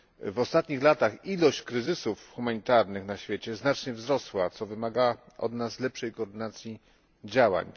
W ostatnich latach liczba kryzysów humanitarnych na świecie znacznie wzrosła, co wymaga od nas lepszej koordynacji działań.